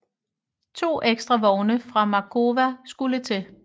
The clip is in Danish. To ekstra vogne fra Markowa skulle til